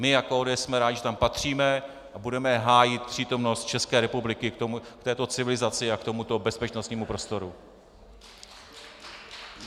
My jako ODS jsme rádi, že tam patříme, a budeme hájit přítomnost České republiky k této civilizaci a k tomuto bezpečnostnímu prostoru.